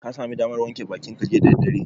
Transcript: Ka sami damar wanke bakinka jiya da daddare?